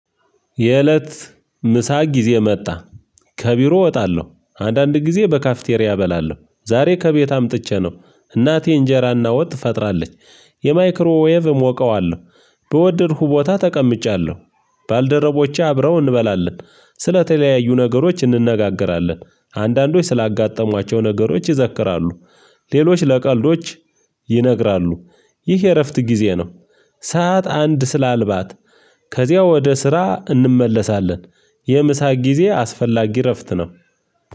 የእለት ምሳ ጊዜ መጣ ከቢሮ እወጣለሁ አንዳንድ ጊዜ በካፍቴሪያ እበላለሁ። ዛሬ ከቤት አምጥቼ ነው እናቴ እንጀራና ወጥ ፈጥራለች። የማይክሮ ዌቭ እሞቀዋለሁ። በወደድኩ ቦታ ተቀምጫለሁ። ባልደረቦቼ አብረው እንበላለን ስለተለያዩ ነገሮች እንነጋገራለን። አንዳንዶች ስላጋጠሟቸው ነገሮች ይዘክራሉ። ሌሎች ለቀልዶች ይነግራሉ። ይህ የእረፍት ጊዜ ነው። ሰዓት አንድ ስላልባት ከዚያ ወደ ስራ እንመለሳለን። የምሳ ጊዜ አስፈላጊ እረፍት ነው።